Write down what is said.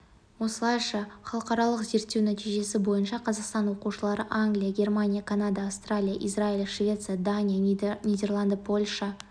осылайша халықаралық зерттеу нәтижесі бойынша қазақстан оқушылары англия германия канада австралия израиль швеция дания нидерланды польша